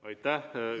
Aitäh!